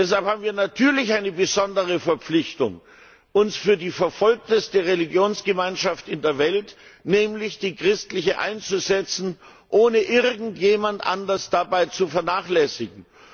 Deshalb haben wir natürlich eine besondere Verpflichtung, uns für die verfolgteste Religionsgemeinschaft in der Welt, nämlich die christliche, einzusetzen, ohne irgendjemand anders dabei zu vernachlässigen.